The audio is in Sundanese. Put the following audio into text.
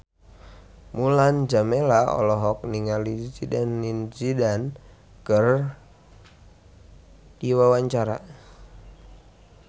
Mulan Jameela olohok ningali Zidane Zidane keur diwawancara